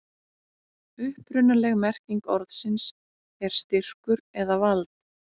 upprunaleg merking orðsins er styrkur eða vald